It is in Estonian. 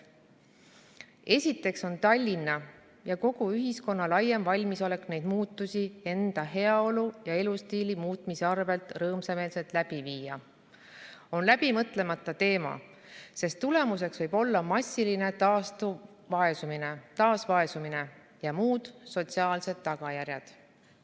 Esiteks on Tallinna ja kogu ühiskonna laiem valimisolek neid muutusi enda heaolu ja elustiili muutmise arvelt rõõmsameelselt läbi viia, on läbimõtlemata teema, sest tulemuseks võib olla massiline taasvaesumine ja muud sotsiaalsed tagajärjed.